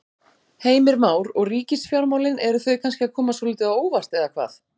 Heimir Már: Og ríkisfjármálin, eru þau kannski að koma svolítið á óvart eða hvað?